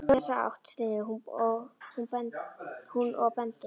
Hann hljóp í þessa átt, stynur hún og bendir.